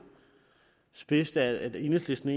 spidst at enhedslisten